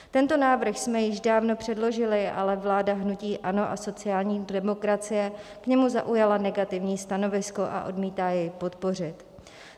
Tento návrh jsme již dávno předložili, ale vláda hnutí ANO a sociální demokracie k němu zaujala negativní stanovisko a odmítá jej podpořit.